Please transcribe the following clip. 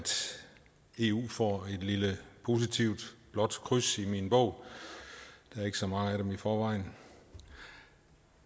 eu får et lille positivt blåt kryds i min bog der er ikke så mange af dem i forvejen